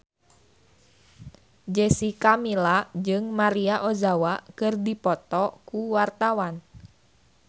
Jessica Milla jeung Maria Ozawa keur dipoto ku wartawan